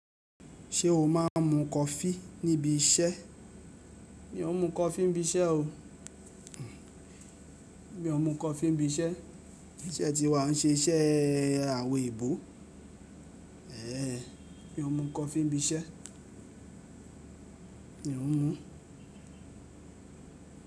Ṣé o máa ń mu coffee níbi iṣẹ́? Mi ò ń mu coffee n bi iṣẹ́ o. Mi ò ń mu coffee níbi iṣẹ́. Iṣẹ́ tí wà o n ṣe iṣẹ́ àwọn ebò. Mi ò ń mu coffee n bi iṣẹ́. Mi ò ń mu.